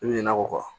I bɛ ɲina a kɔ